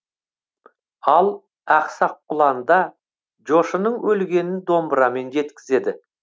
ал ақсақ құланда жошының өлгенін домбырамен жеткізеді